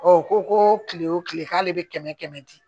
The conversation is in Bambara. u ko ko kile o kile k'ale be kɛmɛ kɛmɛ di